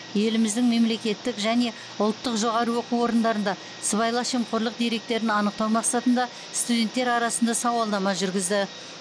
еліміздің мемлекеттік және ұлттық жоғары оқу орындарында сыбайлас жемқорлық деректерін анықтау мақсатында студенттер арасында сауалнама жүргізді